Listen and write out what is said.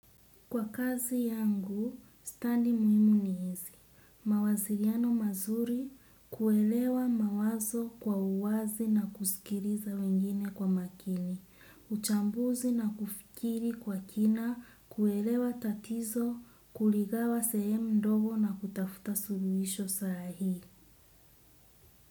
Kwa kazi yangu, stadi muhimu ni hizi. Mawasiliano mazuri kuelewa mawazo kwa uwazi na kusikiliza wengine kwa makini. Uchambuzi na kufikiri kwa kina, kuelewa tatizo, kuligawa sehemu ndogo na kutafuta suluhisho sahihi.